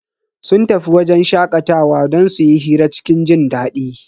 Sun tafi wajen shakatawa don su yi hira cikin jindadi.